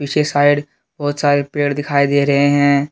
पीछे साइड बहुत सारे पेड़ दिखाई दे रहे हैं।